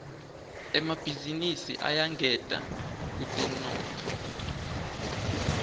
emabhizinisi ayangeta kutemnotfo